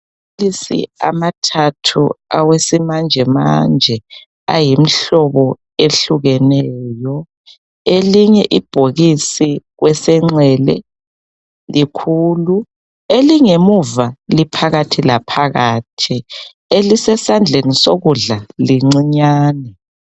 Amabhokisi amathathu awesimanjemanje ayimihlobo ehlukeneyo, elinye ibhokisi kwesenxele likhulu, elingemuva liphakathi laphakathi elisesandleni sokudla lincinyane